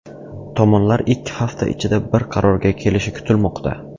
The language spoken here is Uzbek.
Tomonlar ikki hafta ichida bir qarorga kelishi kutilmoqda.